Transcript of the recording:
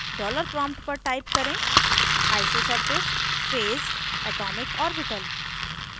$ dollar prompt पर type करें isosurface phase atomic orbital